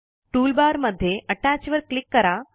toolbar मध्ये अत्तच वर क्लिक करा